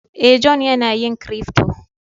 Eh, John yana yin " crypto".